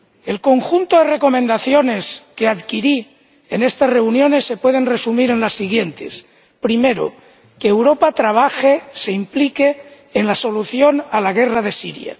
El conjunto de recomendaciones que adquirí en estas reuniones se puede resumir en las siguientes que Europa trabaje, se implique en la solución a la guerra de Siria.